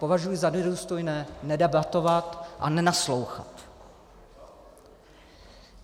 Považuji za nedůstojné nedebatovat a nenaslouchat.